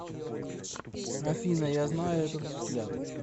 афина я знаю этот взгляд